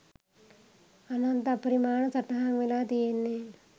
අනන්ත අපරිමාණ සටහන් වෙලා තියෙන්නෙ.